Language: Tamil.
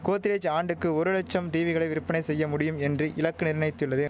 கோத்ரேஜ் ஆண்டுக்கு ஒரு லட்சம் டீவிகளை விற்பனை செய்ய முடியும் என்று இலக்கு நிர்ணயித்துள்ளது